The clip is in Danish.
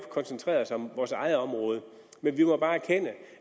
koncentreret os om vores eget område men vi må bare erkende